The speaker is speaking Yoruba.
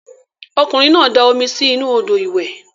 Okunrin na da omi si inu odo iwe.